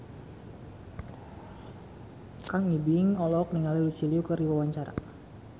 Kang Ibing olohok ningali Lucy Liu keur diwawancara